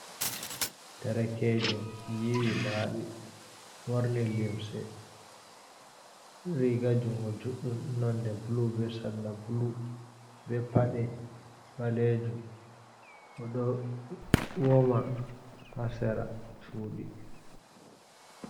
Derekejo yiwi laɓi worni limse riga jungo juɗɗum nonde bulu be salla bulu be pade ɓalejum oɗo woma ha sera chudi.